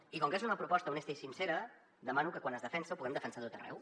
i com que és una proposta honesta i sincera demano que quan es defensa la puguem defensar a tot arreu